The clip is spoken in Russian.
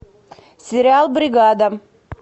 сериал бригада